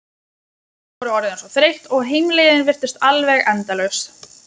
Þau voru orðin svo þreytt og heimleiðin virtist alveg endalaus.